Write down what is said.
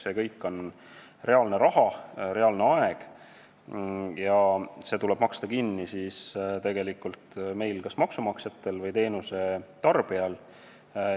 See kõik on reaalne aeg ja reaalne raha, mis tuleks kinni maksta meil, kas maksumaksjatel või teenuse tarbijatel.